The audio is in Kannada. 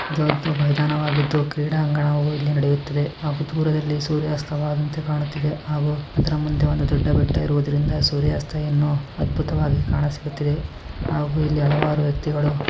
ದೊಡ್ಡ ಮೈದಾನವಾಗಿದ್ದು ಕ್ರೀಡಾಂಗಣವು ಇಲ್ಲಿ ನಡೆಯುತ್ತಿದೆ. ಹಾಗು ದೂರದಲ್ಲಿ ಸೂರ್ಯಾಸ್ತವಾದಂತೆ ಕಾಣುತ್ತದೆ. ಹಾಗು ಅದರ ಮುಂದೆ ಒಂದು ದೊಡ್ಡ ಬೆಟ್ಟ ಇರುವುದರಿಂದ ಸೂರ್ಯಸ್ತಯನ್ನು ಅದ್ಬುತವಾಗಿ ಕಾಣುತ್ತದೆ. ಹಾಗು ಇಲ್ಲಿ ಹಲವಾರು ವ್ಯಕ್ತಿಗಳು --